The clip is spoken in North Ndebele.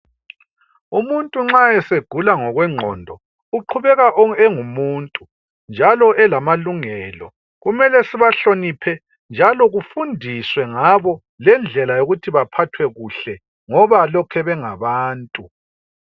Umuntu nxa esegula ngokwengqondo uqhubeka engumuntu njalo elamalungelo. Kumele sibahloniphe njalo kufundiswe ngabo lendlela yokuthi baphathwe kuhle ngoba lokhe bengabantu.